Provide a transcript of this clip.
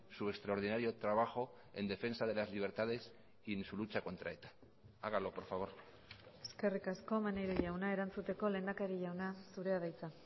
su extraordinario trabajo en defensa de las libertades y en su lucha contra eta hágalo por favor eskerrik asko maneiro jauna erantzuteko lehendakari jauna zurea da hitza